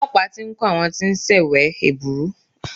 Olọ́pàá ti ń kò àwọn tí wọ́n ń ṣèwé ẹ̀bùrú.